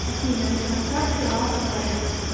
афина красавцы лав радио